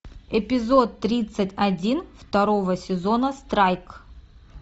эпизод тридцать один второго сезона страйк